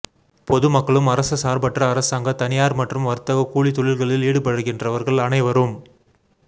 பொதுமக்களும் அரசசார்பற்ற அரசாங்க தனியார் மற்றும் வர்த்தக கூலித்தொழில்களில் ஈடுபடுக்கின்றவர்கள் அனைவரும்